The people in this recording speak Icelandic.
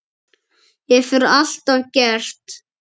Hefur alltaf gert.